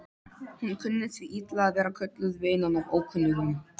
Hún kunni því illa að vera kölluð vinan af ókunnugum.